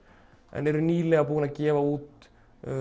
en eru nýlega búnir að gefa út